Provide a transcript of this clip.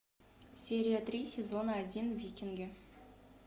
серия три сезона один викинги